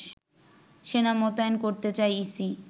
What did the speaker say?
সেনা মোতায়েন করতে চায় ইসি